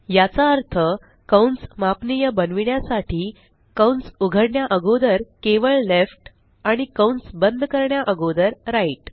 याचा अर्थ कंस मापनीय बनविण्यासाठी कंस उघडण्या अगोदर केवळ लेफ्ट आणि कंस बंद करण्या अगोदर राइट